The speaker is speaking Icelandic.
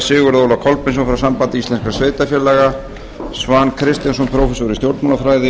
sigurð óla kolbeinsson frá sambandi íslenskra sveitarfélaga svan kristjánsson prófessor í stjórnmálafræði